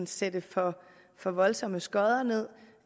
sætte for for voldsomme skodder ned